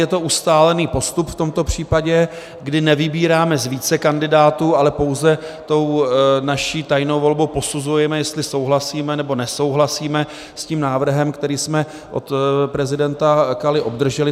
Je to ustálený postup v tomto případě, kdy nevybíráme z více kandidátů, ale pouze tou naší tajnou volbou posuzujeme, jestli souhlasíme, nebo nesouhlasíme s tím návrhem, který jsme od prezidenta Kaly obdrželi.